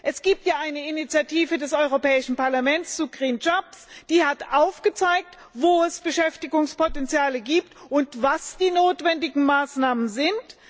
Es gibt ja eine Initiative des Europäischen Parlaments zu die aufgezeigt hat, wo es Beschäftigungspotenziale gibt und was die notwendigen Maßnahmen sind.